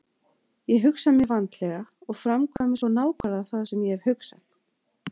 Ég hugsa mjög vandlega og framkvæmi svo nákvæmlega það sem ég hef hugsað.